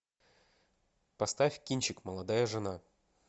поставь кинчик молодая жена